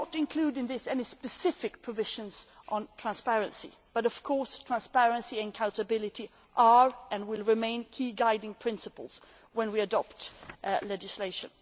We do not include in this any specific provisions on transparency, but of course transparency and accountability are, and will remain, key guiding principles when we adopt legislation.